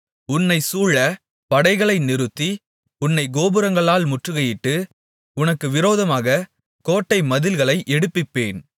உன்னைச் சூழப் படைகளை நிறுத்தி உன்னைத் கோபுரங்களால் முற்றுகையிட்டு உனக்கு விரோதமாகக் கோட்டை மதில்களை எடுப்பிப்பேன்